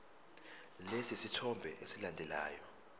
lesi sithombe esilandelayo